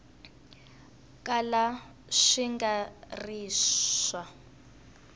kala swi nga ri swa